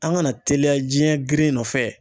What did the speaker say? An kana teliya jiɲɛ girin nɔfɛ.